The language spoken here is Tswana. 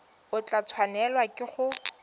o tla tshwanelwa ke go